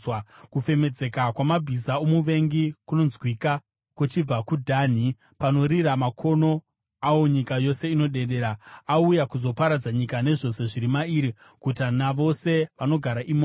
Kufemedzeka kwamabhiza omuvengi kunonzwika kuchibva kuDhani; panorira makono awo nyika yose inodedera. Auya kuzoparadza nyika nezvose zviri mairi, guta navose vanogara imomo.”